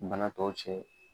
Bana tɔw cɛ.